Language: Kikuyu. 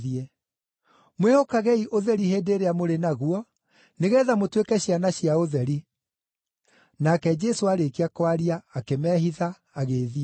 Mwĩhokagei ũtheri hĩndĩ ĩrĩa mũrĩ naguo, nĩgeetha mũtuĩke ciana cia ũtheri.” Nake Jesũ aarĩkia kwaria, akĩmehitha, agĩĩthiĩra.